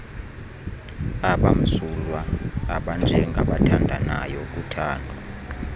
abamsulwa abanjengaabathandanayo uthando